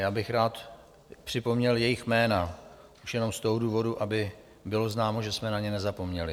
Já bych rád připomněl jejich jména, už jenom z toho důvodu, aby bylo známo, že jsme na ně nezapomněli.